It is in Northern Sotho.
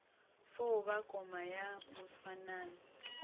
fo ba koma ya moswanano